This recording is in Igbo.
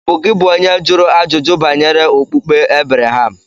Ọ̀ bụ gị bụ onye jụrụ ajụjụ banyere okpukpe Ebreham?